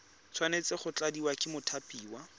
tshwanetse go tladiwa ke mothapiwa